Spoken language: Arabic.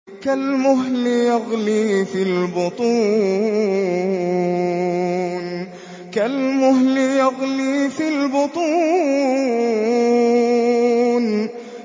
كَالْمُهْلِ يَغْلِي فِي الْبُطُونِ